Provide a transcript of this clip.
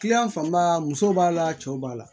fanba muso b'a la cɛw b'a la